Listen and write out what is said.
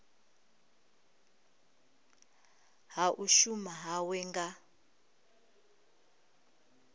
ha u shuma hawe nga